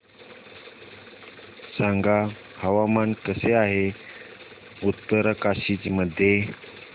सांगा हवामान कसे आहे उत्तरकाशी मध्ये